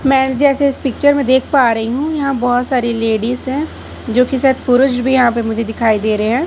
मैं जैसे इस पिक्चर में देख पा रही हूं यहां बहोत सारी लेडिस है जोकि शायद पुरुष भी यहां पर मुझे दिखाई दे रहे हैं।